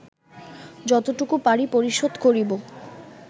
যতটুকু পারি পরিশোধ করিব